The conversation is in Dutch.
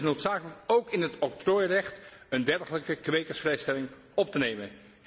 Het is noodzakelijk ook in het octrooirecht een dergelijke kwekersvrijstelling op te nemen.